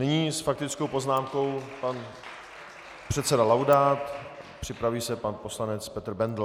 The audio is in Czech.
Nyní s faktickou poznámkou pan předseda Laudát, připraví se pan poslanec Petr Bendl.